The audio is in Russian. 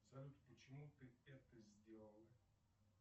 салют почему ты это сделал